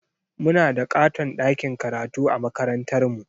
Muna da ƙaton ɗakin karatu a makarantarmu.